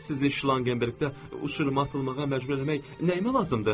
Sizin Şlanqenberqdə ucub atılmağa məcbur eləmək nəyimə lazımdır?